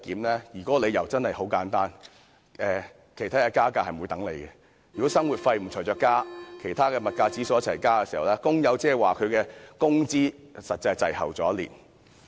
當中的理由很簡單，便是加價不會等人，如果生活費沒有相應增加，當其他物價指數上升時，工友的工資實際是滯後一年。